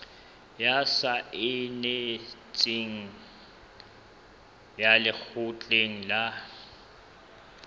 ya saense ya lekgotleng la